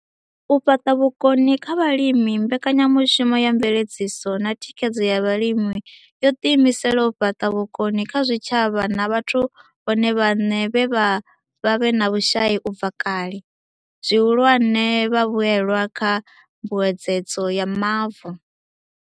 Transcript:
U fhaṱa vhukoni kha vhalimi Mbekanyamushumo ya Mveledziso na Thikhedzo ya Vhalimi yo ḓiimisela u fhaṱa vhukoni kha zwitshavha na vhathu vhone vhaṋe vhe vha vha vhe na vhushai u bva kale, zwihulwane, vhavhuelwa kha Mbuedzedzo ya Mavu.